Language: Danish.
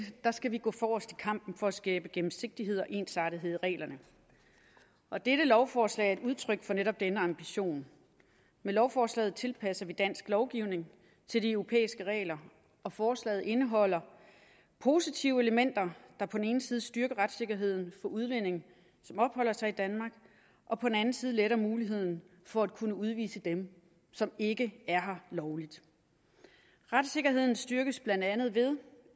skal vi gå forrest i kampen for at skabe gennemsigtighed og ensartethed i reglerne og dette lovforslag er et udtryk for netop denne ambition med lovforslaget tilpasser vi dansk lovgivning til de europæiske regler og forslaget indeholder positive elementer der på den ene side styrker retssikkerheden for udlændinge som opholder sig i danmark og på den anden side forbedrer muligheden for at kunne udvise dem som ikke er her lovligt retssikkerheden styrkes blandt andet ved